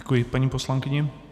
Děkuji paní poslankyni.